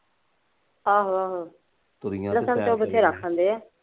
ਆਹੋ ਆਹੋ, ਲਸਣ ਤਾਂ ਬਥੇਰਾ ਖਾਂਦੇ ਆ।